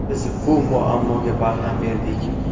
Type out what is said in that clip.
Biz bu muammoga barham berdik.